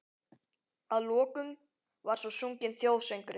Að lokum var svo sunginn þjóðsöngurinn.